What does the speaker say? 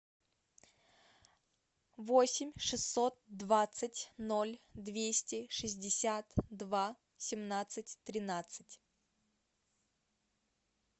восемь шестьсот двадцать ноль двести шестьдесят два семнадцать тринадцать